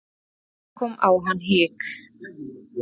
Þá kom á hann hik.